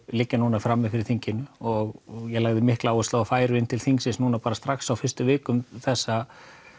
liggja núna frammi fyrir þinginu og ég lagði mikla áherslu á að þær færu inn til þingsins núna bara strax á fyrstu vikum þessa